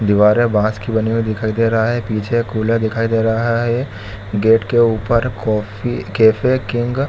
दिवारे बांस की बनी दिखाई दिखाई दे रहा है पीछे खुला दिखाई दे रहा है गेट के ऊपर कॉफी कैफ़े किंग --